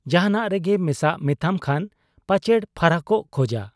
ᱡᱟᱦᱟᱸᱱᱟᱜᱨᱮ ᱢᱮᱥᱟᱜ ᱢᱮᱛᱟᱢ ᱠᱷᱟᱱ ᱯᱟᱪᱮᱲ ᱯᱷᱟᱨᱟᱠᱚᱜ ᱠᱷᱚᱡᱟ ᱾'